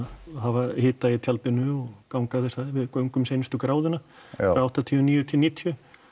og hafa hita í tjaldinu og ganga þessa við göngum seinustu gráðuna frá áttatíu og níu til níutíu